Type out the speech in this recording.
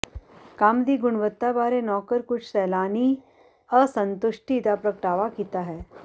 ਕੰਮ ਦੀ ਗੁਣਵੱਤਾ ਬਾਰੇ ਨੌਕਰ ਕੁਝ ਸੈਲਾਨੀ ਅਸੰਤੁਸ਼ਟੀ ਦਾ ਪ੍ਰਗਟਾਵਾ ਕੀਤਾ ਹੈ